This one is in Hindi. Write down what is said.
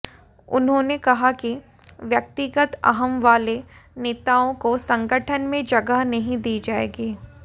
उन्होंने कहा कि व्यक्तिगत अहम वाले नेताओं को संगठन में जगह नहीं दी जाएगी